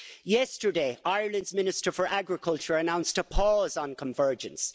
Yesterday, Ireland's Minister for Agriculture announced a pause on convergence.